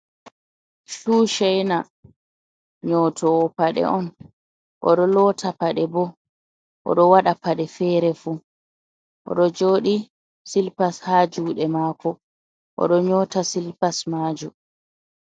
Shu chaina nyotowo paɗe on, oɗo lota paɗe bo oɗo waɗa paɗe fere fu, oɗo joɗi silpas ha juɗe mako oɗo nyota silpas majo.